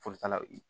Folitalaw ye